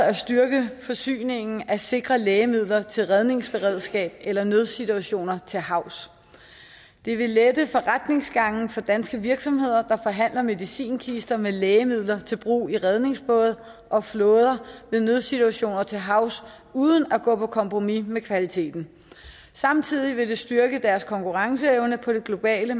at styrke forsyningen af sikre lægemidler til redningsberedskab eller nødsituationer til havs det vil lette forretningsgangen for danske virksomheder der forhandler medicinkister med lægemidler til brug i redningsbåde og flåder ved nødsituationer til havs uden at gå på kompromis med kvaliteten samtidig vil det styrke deres konkurrenceevne på det globale